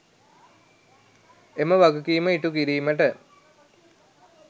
එම වගකීම ඉටුකිරීමට